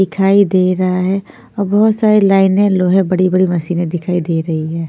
दिखाई दे रहा है और बहुत सारी लाइने लोहे बड़ी-बड़ी मशीनें दिखाई दे रही है।